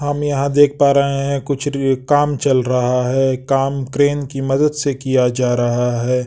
हम यहाँ देख पा रहे हैं कुछ काम चल रहा है काम क्रेन की मदद से किया जा रहा है ।